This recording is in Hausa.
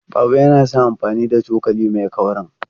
Baba yana son amfani da cokali mai kaurin.